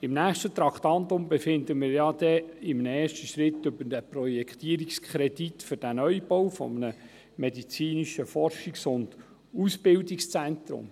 Im nächsten Traktandum befinden wir ja in einem ersten Schritt über den Projektierungskredit für den Neubau eines medizinischen Forschungs- und Ausbildungszentrums.